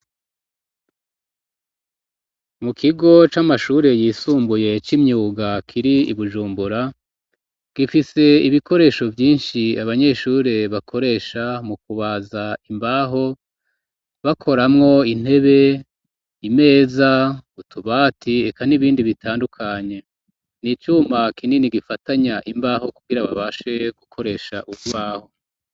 Mu kigo c'amashure yisumbuye c'imyuga kiri ibujumbura gifise ibikoresho vyinshi abanyeshure bakoresha mu kubaza imbaho bakoramwo intebe imeza butubati eka n'ibindi bitandukanye ni cuma kinini gifatanya imbaho kubgira babashewe gukoresha uwaho.